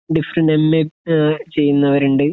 different M A uh ചെയ്യുന്നവരുണ്ട്